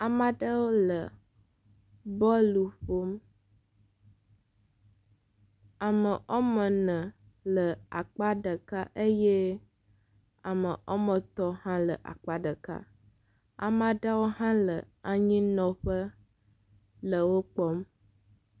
amaɖewo le bɔl ƒom ame ɔmene le akpa ɖeka eye ame ɔmetɔ̃ hã le akpa ɖeka amaɖewo hã le anyinɔƒe le wó kpɔm